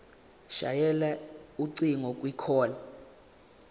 shayela ucingo kwicall